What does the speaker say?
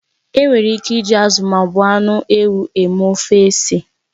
Enwere ike iji azụ ma ọ bụ anụ ewu mee ofe ose.